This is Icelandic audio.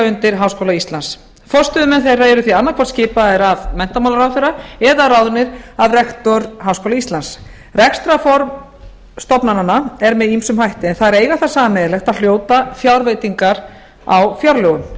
undir háskóla íslands forstöðumenn þeirra eru því annaðhvort skipaðir af menntamálaráðherra eða ráðnir af rektor háskóla íslands rekstrarform stofnananna er með ýmsum hætti en þeir eiga það sameiginlegt að hljóta fjárveitingar á fjárlögum